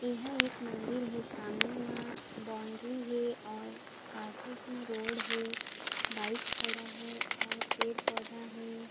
यह एक मंदिर हे सामने मा बॉउंड्री हे और पासे च मा रोड हे बाइक खड़ा हे और पेड़-पौधा हे।